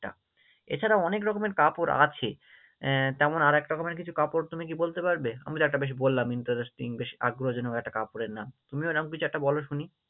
টা এছাড়াও অনেক রকমের কাপড় আছে আহ তেমন আর এক রকমের কিছু কাপড় তুমি কি বলতে পারবে? আমি তো একটা বেশ বললাম Interesting বেশ আগ্রহজনক একটা কাপড়ের নাম, তুমিও এরকম একটা কিছু বলো শুনি?